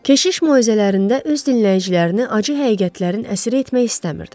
Keşiş moizələrində öz dinləyicilərini acı həqiqətlərin əsiri etmək istəmirdi.